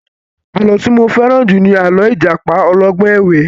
Àlọ́ tí mo fẹ́ràn jù ni àlọ́ ìjàpá ọlọ́gbọ́n ẹ̀wẹ́